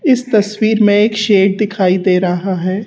इस तस्वीर में एक शेर दिखाई दे रहा है।